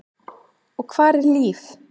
Og hvar er Líf?